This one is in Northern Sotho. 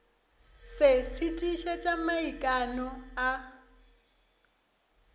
se se tiišetša maikano a